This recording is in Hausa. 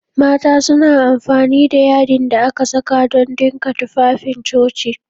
Mata suna amfani da yadin da aka saka don dinka tufafin coci